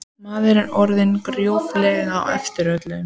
Maður er orðinn gróflega á eftir í öllu.